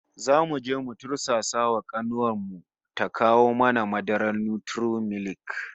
Zamu je mu tursasa wa kanuwar mu ta kawo mana madarar Nutri-milk